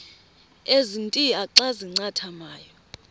ezintia xa zincathamayo